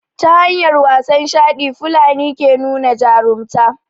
ta hanyar wasan shaɗi fulani ke nuna jarumta